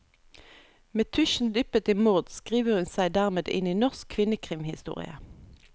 Med tusjen dyppet i mord skriver hun seg dermed inn i norsk kvinnekrimhistorie.